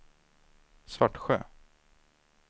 Svartsjö